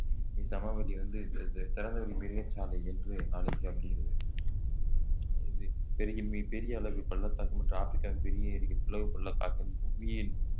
இச்சமவெளி வந்து திறந்தவெளி மிருகசாலை என்று அழைக்கப்படுகிறது பெரிய மிக பெரிய அளவு பள்ளத்தாக்கு மற்றும் ஆப்பிரிக்காவின் பெரிய ஏரிகள் பிளவு பள்ளத்தாக்கு புவியின்